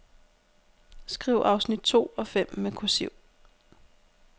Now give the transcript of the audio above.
Skriv afsnit to og fem med kursiv.